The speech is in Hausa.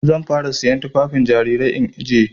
Zan fara siyan tufafin jarirai in ajiye.